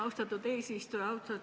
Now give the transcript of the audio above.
Austatud eesistuja!